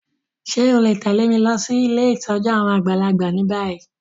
Ṣe o le tẹ̀lé mi losí ilé ìtójú àwon àgbàlagbà ni bayi?